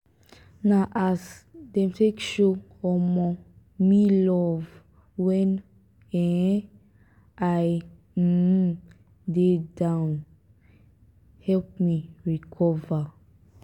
na as dem take show um me love wen um i um dey down help me recover.